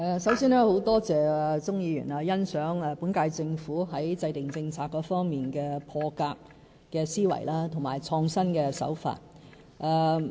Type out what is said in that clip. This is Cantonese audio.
首先，很感謝鍾議員欣賞本屆政府在制訂政策方面的破格思維及創新的手法。